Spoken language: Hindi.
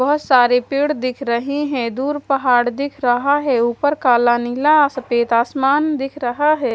बहोत सारे पेड़ दिख रहे हैं दूर पहाड़ दिख रहा है ऊपर काला निला सफेद आसमान दिख रहा है।